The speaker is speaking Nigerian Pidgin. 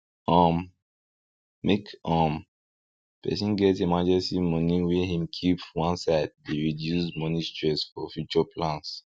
um make um person get emergency money wey him keep one side dey reduce moeny stress for future plans